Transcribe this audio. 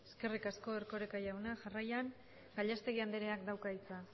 eskerrik asko erkoreka jauna jarraian gallastegui andreak dauka hitza